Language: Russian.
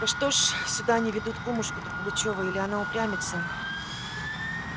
да что ж сюда не ведут кумушку-то пугачёва или она упрямится